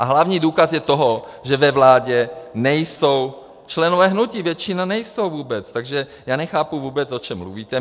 A hlavní důkaz toho je, že ve vládě nejsou členové hnutí, většina nejsou vůbec, takže já nechápu vůbec, o čem mluvíte.